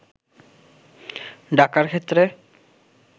ডাকার ক্ষেত্রে